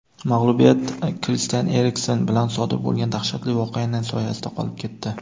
mag‘lubiyat Kristian Eriksen bilan sodir bo‘lgan dahshatli voqeaning soyasida qolib ketdi.